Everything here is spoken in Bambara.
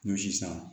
Ɲɔsi san